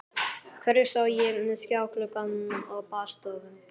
Hvergi sá ég skjáglugga á baðstofum.